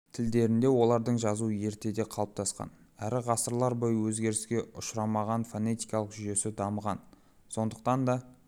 тілдерінде олардың жазуы ертеде қалыптасқан әрі ғасырлар бойы өзгеріске ұшырамаған фонетикалық жүйесі дамыған сондықтан да